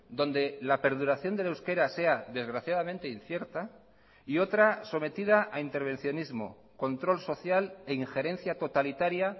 donde la perduración del euskera sea desgraciadamente incierta y otra sometida a intervencionismo control social e injerencia totalitaria